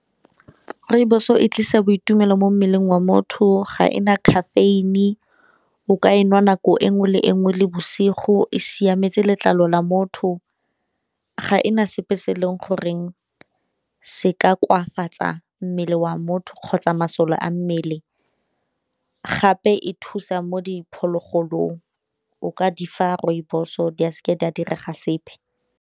Rooibos-o e tlisa boitumelo mo mmeleng wa motho, ga e na caffeine, o ka e nwa nako e nngwe le e nngwe le bosigo, e siametse letlalo la motho, ga e na sepe se e leng gore se ka koafatsa mmele wa motho kgotsa masole a mmele gape e thusa mo diphologolong, o ka di fa rooibos-o di seke di a direga sepe.